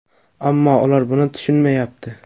Ammo ular buni tushunmayapti.